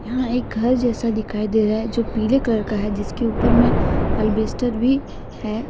यहां एक घर जैसा दिखाई दे रहा है जो पीले कलर का है जिसके ऊपर में अल्बेस्टर भी है।